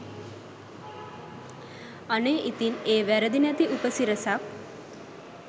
අනේ ඉතින් ඒ වැරදි නැති උපසිරැසක්